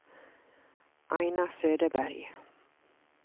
Aina Söderberg